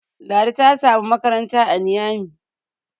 Ladi ta samu makaranta a Niyami